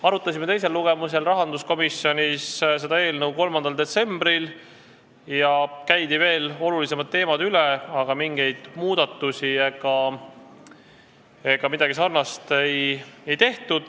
Arutasime teist lugemist ette valmistades seda eelnõu rahanduskomisjonis 3. detsembril ja käisime olulisemad teemad veel üle, aga mingeid muudatusi ega midagi sarnast ei tehtud.